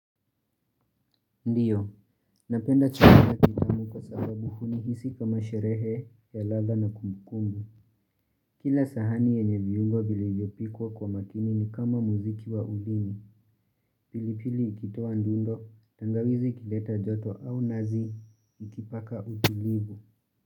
Ndiyo, napenda chakula kitamu kwa sababu huni hisi kama sherehe ya ladha na kumbu kumbu. Kila sahani yenye viungo vilivyopikwa kwa makini ni kama muziki wa ulimi. Pilipili ikitoa ndundo, tangawizi kileta joto au nazi, ikipaka utulivu.